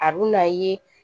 A bɛ n'a ye